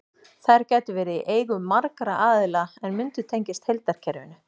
Þær gætu verið í eigu margra aðila en mundu tengjast heildarkerfinu.